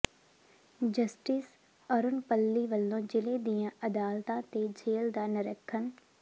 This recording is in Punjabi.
ਜਸਟਿਸ ਅਰੁਣ ਪੱਲੀ ਵਲੋਂ ਜ਼ਿਲ੍ਹੇ ਦੀਆਂ ਅਦਾਲਤਾਂ ਤੇ ਜੇਲ੍ਹ ਦਾ ਨਿਰੀਖਣ